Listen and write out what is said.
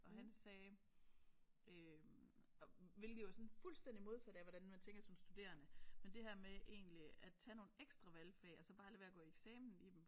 Og han sagde øh hvilket jo er sådan fuldstændig modsat af hvordan man tænker som studerende men det her med egentlig at tage nogle ekstra valgfag og så bare lade være med at gå i eksamen i dem